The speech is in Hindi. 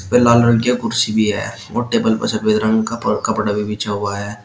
वह लाल रंग की कुर्सी भी है और टेबल पर सफेद रंग का कपड़ा भी बिशा हुआ है।